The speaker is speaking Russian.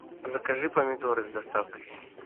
закажи помидоры с доставкой